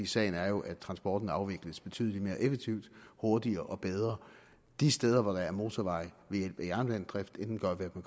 sagen er jo at transporten afvikles betydelig mere effektivt hurtigere og bedre de steder hvor der er motorveje ved hjælp af jernbanedrift end den gør ved